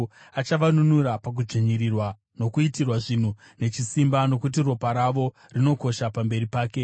Achavanunura pakudzvinyirirwa nokuitirwa zvinhu nechisimba, nokuti ropa ravo rinokosha pamberi pake.